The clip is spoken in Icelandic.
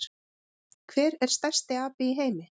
Hver er stærsti api í heimi?